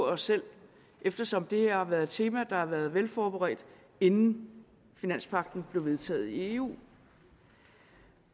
af os selv eftersom det her har været et tema der har været velforberedt inden finanspagten blev vedtaget i eu